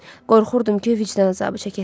Qorxurdum ki, vicdan əzabı çəkəsiz.